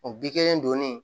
O bi kelen donni